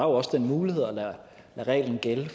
også den mulighed at lade reglen gælde